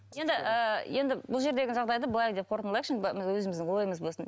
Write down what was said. енді ыыы енді бұл жердегі жағдайды былай деп қорытындылайықшы енді былай өзіміздің ойымыз болсын